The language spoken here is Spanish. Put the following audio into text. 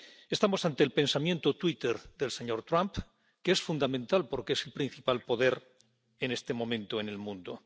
Estamos ante el pensamiento twitter del señor Trump, que es fundamental porque es el principal poder en este momento en el mundo.